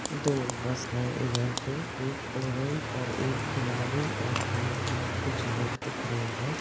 दो बस है इधर पे एक ऑरेंज और एक गुलाबी और काले कलर कुछ लोग दिख रहे हैं।